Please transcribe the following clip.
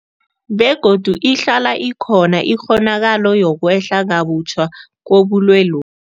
Begodu ihlala ikhona ikghonakalo yokwehla kabutjha kobulwelobu.